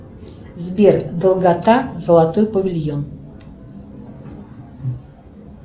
сбер долгота золотой павильон